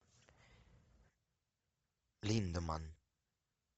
линдеманн